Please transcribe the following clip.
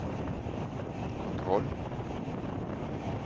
kontroll